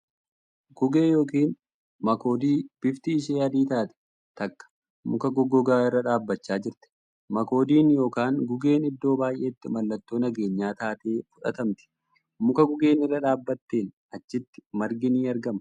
Guggee yookiin makoodii bifti ishee adii taate takka muka goggogaa irra dhaabbachaa jirti. Makoodiin yookan guggeen iddoo baay'etti mallattoo nageenyaa taatee fudhatamtii . Muka guggeen irra dhaabbatteen achitti margi ni argama.